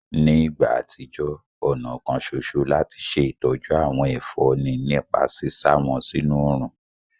Ní ìgbà àtijọ́, ọ̀nà kan soso láti ṣe ìtọ́jú àwọn ẹ̀fọ́ ni nípa sísá wọn sínú òrùn